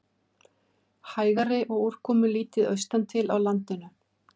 Hægari og úrkomulítið austantil á landinu